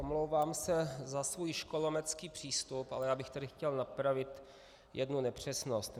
Omlouvám se za svůj školometský přístup, ale já bych tady chtěl napravit jednu nepřesnost.